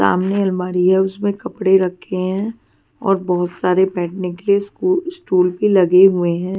सामने अलमारी है उसमें कपड़े रखे हैं और बहुत सारे बैठने के लिए स्टू स्टूल भी लगे हुए हैं.